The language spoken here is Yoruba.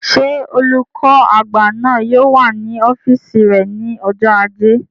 Ṣé olùkọ́ àgbà náà yóò wà ní ọ́fìsì rẹ̀ ní ọjọ́ ajé